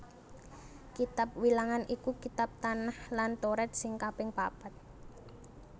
Kitab Wilangan iku kitab Tanakh lan Toret sing kaping papat